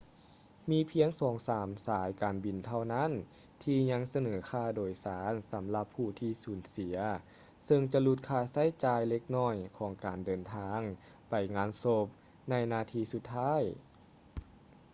ມີພຽງສອງສາມສາຍການບິນເທົ່ານັ້ນທີ່ຍັງສະເໜີຄ່າໂດຍສານສຳຫຼັບຜູ້ທີ່ສູນເສຍເຊິ່ງຈະຫຼຸດຄ່າໃຊ້ຈ່າຍເລັກນ້ອຍຂອງການເດີນທາງໄປງານສົບໃນນາທີສຸດທ້າຍ